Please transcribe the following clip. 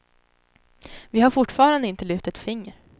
Vi har fortfarande inte lyft ett finger.